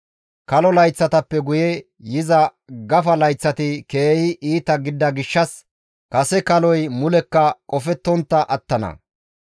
Kalo layththatappe guye yiza gafa layththati keehi iita gidida gishshas kase kaloy mulekka qofettontta attana.